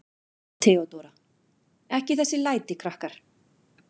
THEODÓRA: Ekki þessi læti, krakkar.